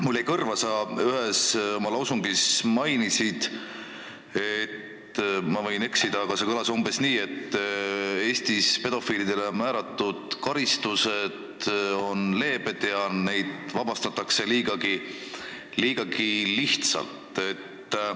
Mulle jäi kõrva, kui sa ühes oma lauses mainisid – ma võin küll eksida, aga see kõlas umbes nii –, et Eestis pedofiilidele määratud karistused on leebed ja neid vabastatakse liigagi lihtsalt.